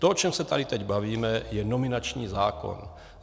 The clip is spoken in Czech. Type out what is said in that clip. To, o čem se tady teď bavíme, je nominační zákon.